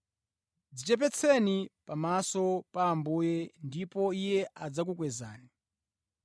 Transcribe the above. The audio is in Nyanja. Dzichepetseni pamaso pa Ambuye ndipo Iye adzakukwezani.